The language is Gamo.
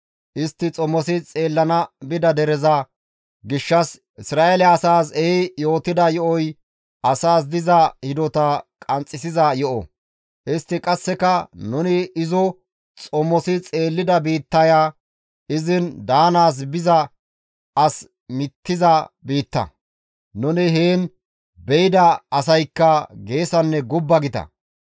Istti xomosi xeellana bida dereza gishshas Isra7eele asaas ehi yootida yo7oy asaas diza hidota qanxxisiza yo7o; istti qasseka, «Nuni izo xomosi xeellida biittaya izin daanaas biza as mittiza biitta; nuni heen beyda asaykka geesanne gubba gita.